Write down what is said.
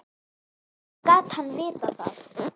Hvernig gat hann vitað það.